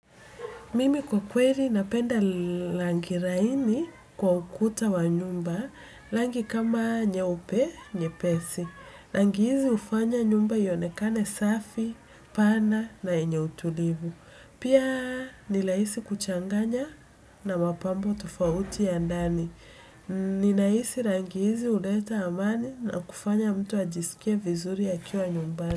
Mimi kwa kweli napenda rangi laini kwa ukuta wa nyumba. Rangi kama nyeupe nyepesi rangi hizi hufanya nyumba ionekane safi, pana na yenye utulivu. Pia ni rahisi kuchanganya na mapambo tofauti ya ndani. Ninahisi rangi hizi huleta amani na kufanya mtu ajisikie vizuri akiwa nyumbani.